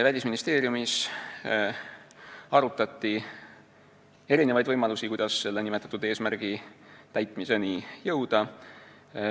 " Välisministeeriumis arutati võimalusi, kuidas nimetatud eesmärgi täitmiseni jõuda.